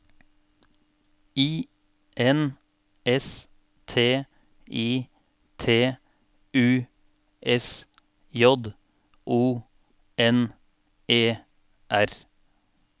I N S T I T U S J O N E R